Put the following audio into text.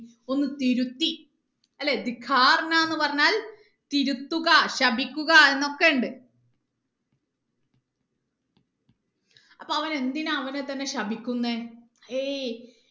ഒന്ന് തിരുത്തി അല്ലെ പറഞ്ഞാൽ തിരുത്തുക ശപിക്കുക എന്നൊക്കെ ഉണ്ട് അപ്പൊ എന്തിനാ അവൻ അവനെ തന്നെ ശപിക്കുന്നെ ഏർ